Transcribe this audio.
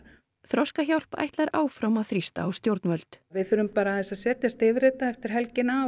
Þroskahjálp ætlar áfram að þrýsta á stjórnvöld við þurfum að setjast yfir þetta eftir helgina